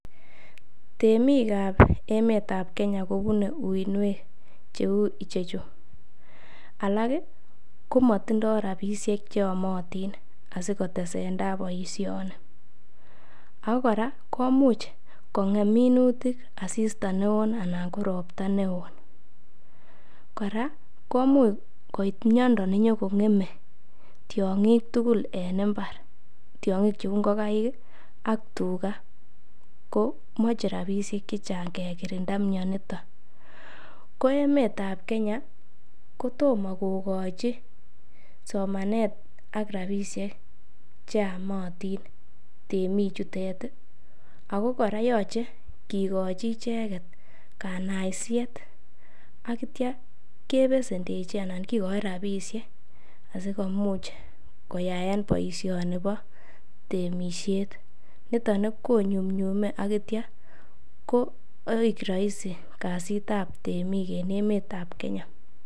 Temik ab emet ab Kenya kobune uiynwek cheu ichechu; Alak komotindo rabishek che yomotin asikotesentai boisioni agor kora komuch kong'em minutik asista neo anan ko ropta neo. Kora komuch koit miondo nenyo kong'eme tiong'ik tugul en mbar. Tiong'ik cheu ngokaikak tuga ko moche rabishek che chang kekirinda mionito, ko emet ab Kenya kotomo kogochi somanet ak rabishek che yomotin temik chutet ago kora yoche kigochi icheget kanaisiet ak kityo kebesendechi anan kigochi rabishek asikomuch koyaen boisioni bo temisiet. Niton konyunyume ak kityo koik rahisi kasitab temik en emet ab Kenya.